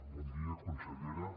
bon dia consellera